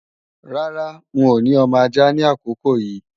Rárá, n ò ní ọmọ ajá ni àkókò yí